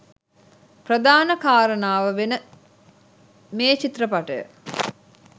ප්‍රධාන කාරණාව වෙන මේ චිත්‍රපටය